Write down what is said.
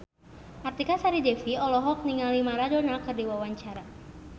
Artika Sari Devi olohok ningali Maradona keur diwawancara